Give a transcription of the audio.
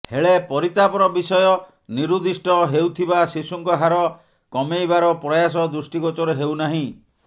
ହେଳେ ପରିତାପର ବିଷୟ ନିରୁଦ୍ଧିଷ୍ଟ ହେଉଥିବା ଶିଶୁଙ୍କ ହାର କମେଇବାର ପ୍ରୟାସ ଦୃଷ୍ଟିଗୋଚର ହେଉନାହିଁ